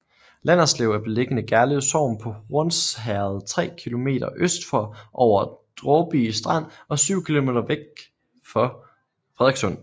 Landerslev er beliggende Gerlev Sogn på Hornsherred tre kilometer øst for Over Dråby Strand og syv kilometer vest for Frederikssund